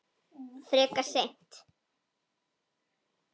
Frekar seint.